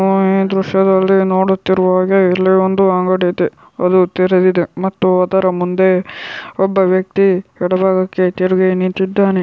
ನಾವು ಈ ದೃಶ್ಯದಲ್ಲಿ ನೋಡುತ್ತಿರುವ ಹಾಗೆ ಇಲ್ಲಿ ಒಂದು ಅಂಗಡಿ ಇದೆ. ಅದು ತೆರೆದಿದೆ ಮತ್ತು ಅದರ ಮುಂದೆ ಒಬ್ಬ ವ್ಯಕ್ತಿ ಎಡ ಭಾಗಕ್ಕೆ ತಿರುಗಿ ನಿಂತಿದ್ದಾನೆ.